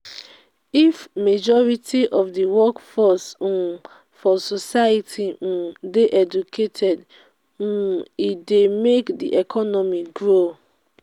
if majority of the workforce um for society um de educated um e de make di economy grow